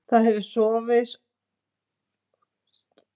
Það hefur sorfist í berggrunninn eftir að jökull hopaði af svæðinu fyrir um